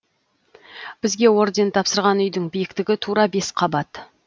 бізге орден тапсырған үйдің биіктігі тура бес қабат